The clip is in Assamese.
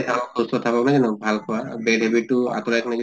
থাকক সুস্থ থাকক জানো ভাল খোৱা bad habit টো আঁতৰাই কিনে যদি